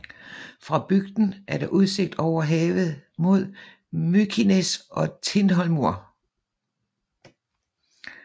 Fra bygden er der udsigt over havet mod Mykines og Tindhólmur